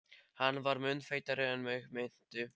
Hann var mun feitari en mig minnti.